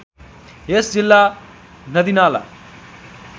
यस जिल्ला नदीनाला